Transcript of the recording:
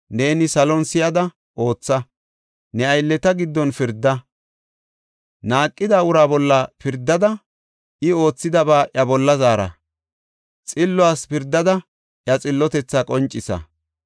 neeni salon si7ada ootha. Ne aylleta giddon pirda. Naaqida uraa bolla pirdada, I oothidaba iya bolla zaara; xilluwas pirdada iya xillotethaa qoncisa.